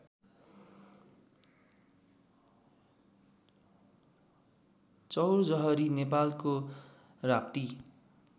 चौरजहरी नेपालको राप्ती